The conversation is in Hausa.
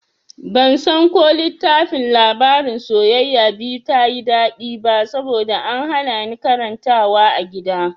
Bansan ko littafin labarin masoya biyu ta yi daɗi ba saboda an hana ni karantawa a gida.